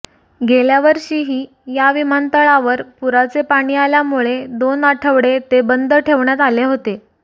गेल्यावर्षीही या विमानतळावर पुराचे पाणी आल्यामुळे दोन आठवडे ते बंद ठेवण्यात आले होते